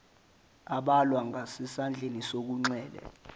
abhalwa ngasesandleni sokunxele